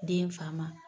Den fa ma